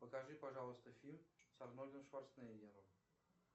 покажи пожалуйста фильм с арнольдом шварценеггером